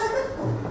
Söhbət budur.